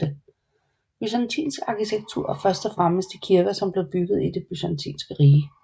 Byzantinsk arkitektur er først og fremmest de kirker som blev bygget i Det byzantinske rige